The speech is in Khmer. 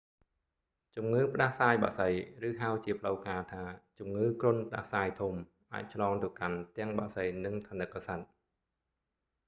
ជំងឺផ្ដាសាយបក្សី ឬហៅជាផ្លូវការណ៍ថាជំងឺគ្រុនផ្ដាសាយធំ អាចឆ្លងទៅកាន់ទាំងបក្សី និងថនិកសត្វ